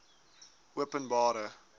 openbare